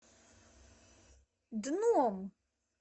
дном